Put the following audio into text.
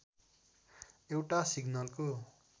एउटा सिग्नलको